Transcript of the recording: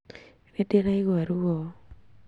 Nĩndĩraigua ruo